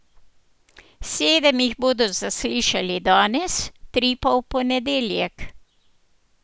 Sedem jih bodo zaslišali danes, tri pa v ponedeljek.